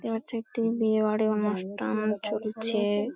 দেখতে পাচ্ছি একটি বিয়ে বাড়ি অনুষ্ঠান চলছে-এ ।